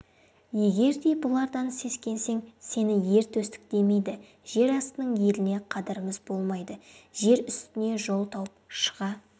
егер де бұлардан сескенсең сені ер төстік демейді жер астының еліне қадіріміз болмайды жер үстіне жол тауып шыға